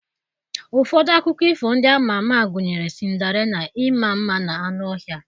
Ụfọdụ akụkọ ifo ndị a ma ama gụnyere Sịnderella, Ịma mma na anụ ọhịa,